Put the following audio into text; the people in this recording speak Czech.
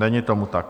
Není tomu tak.